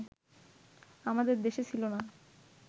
আমাদের দেশে ছিল না